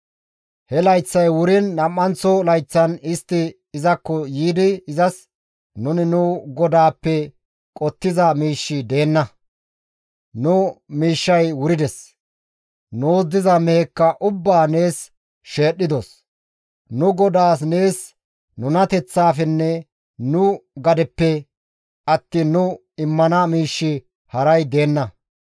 He layththay wuriin nam7anththo layththan istti izakko yiidi izas, «Nuni nu godaappe qottiza miishshi deenna; nu miishshay wurides; nuus diza mehekka ubbaa nees sheedhdhidos; nu godaas nees nunateththafenne nu gadeppe attiin nu immana miishshi haray deenna.